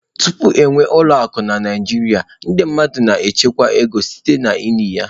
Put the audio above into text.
Tupu e nwee ụlọ akụ na Naịjirịa, ndị mmadụ na-echekwa ego site n'ili ya.